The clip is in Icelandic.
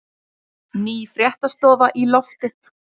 Ný fréttastofa í loftið